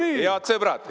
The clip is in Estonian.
Head sõbrad!